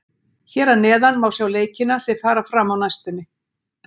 Hér að neðan má sjá leikina sem fara fram á næstunni.